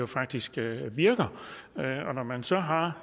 faktisk virker og når man så har